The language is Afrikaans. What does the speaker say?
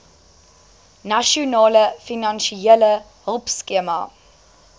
nasionale finansiële hulpskema